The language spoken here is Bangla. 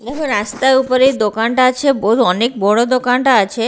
দেখো রাস্টার উপরেই এই দোকানটা আছে অনেক বড় দোকানটা আছে।